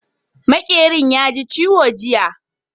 Maƙeran ya ji ciwo jiya